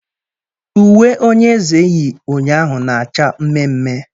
Uwe onye eze yi ụnyaahụ na-acha mmee mmee